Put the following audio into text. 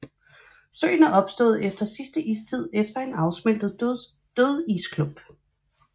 Søen er opstået efter sidste istid efter en afsmeltet dødisklump